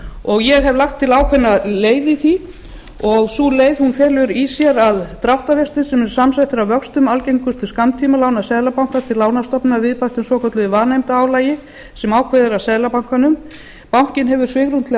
árs ég hef lagt til ákveðna leið í því sú leið felur í sér að dráttarvextir sem eru samsettir af vöxtum algengustu skammtímalána seðlabankans til lánastofnana að viðbættum svokölluðu vanefndaálagi sem ákveðið er af seðlabankanum bankinn hefur svigrúm til að